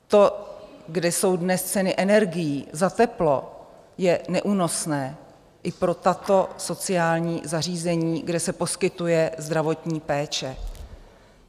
To, kde jsou dnes ceny energií za teplo, je neúnosné i pro tato sociální zařízení, kde se poskytuje zdravotní péče.